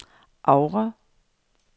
Oure